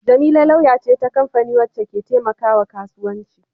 Jamila lauya ce ta kamfani wacce ke taimakawa kasuwanci.